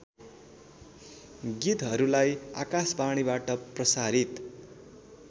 गीतहरूलाई आकाशवाणीबाट प्रसारित